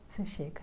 Você chega.